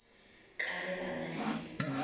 ka ge ba na le